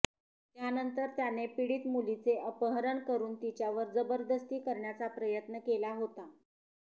त्यानंतर त्याने पीडित मुलीचे अपहरण करून तिच्यावर जबदस्ती करण्याचा प्रयत्न केला होता